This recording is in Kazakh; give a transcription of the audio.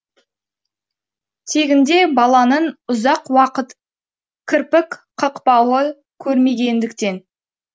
тегінде баланың ұзақ уақыт кірпік қақпауы көрмегендіктен